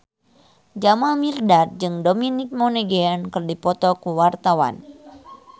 Jamal Mirdad jeung Dominic Monaghan keur dipoto ku wartawan